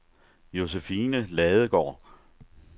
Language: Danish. Josephine Ladegaard